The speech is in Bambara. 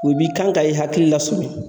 U bi kan ka i hakili la sɔmi